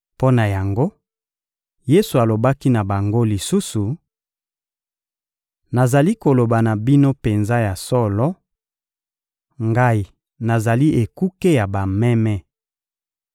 Mpo na yango, Yesu alobaki na bango lisusu: — Nazali koloba na bino penza ya solo: Ngai nazali ekuke ya bameme.